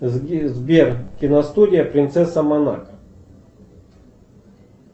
сбер киностудия принцесса монако